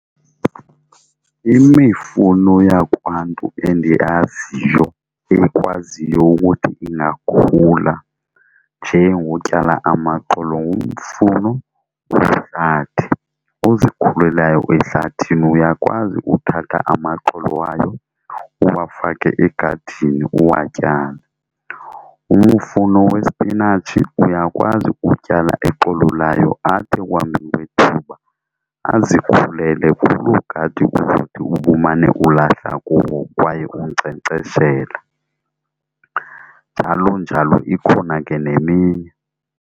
Imifuno yakwaNtu endiyaziyo eyikwaziyo ukuthi ingakhula nje ngotyala amaxolo ngumfuno wehlathi ozikhulelayo ehlathini, uyakwazi uthatha amaxolo wayo uwafake egadini uwatyale. Umufuno wespinatshi uyakwazi utyala ixolo layo athi ekuhambeni kwethuba azikhulele kuloo gadi uzothi ubumane ulahla kuwo kwaye unkcenkceshela njalo njalo, ikhona ke neminye.